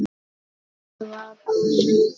Svo bar Helgi